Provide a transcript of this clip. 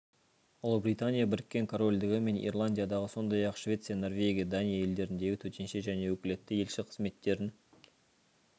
ұлыбритания біріккен корольдігі мен ирландиядағы сондай-ақ швеция норвегия дания елдеріндегі төтенше және өкілетті елші қызметтерін